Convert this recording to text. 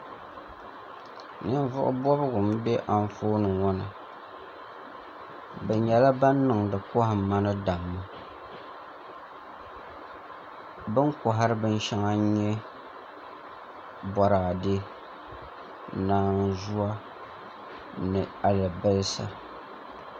Ninvuɣu bobgu n bɛ Anfooni ŋo ni bi nyɛla ban niŋdi kohamma ni damma bi ni kohari bin shɛŋa n nyɛ Boraadɛ naanzuwa ni alibarisa